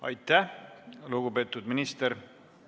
Aitäh, lugupeetud minister!